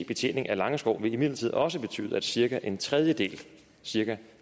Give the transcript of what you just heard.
betjening af langeskov vil imidlertid også betyde at cirka en tredjedel cirka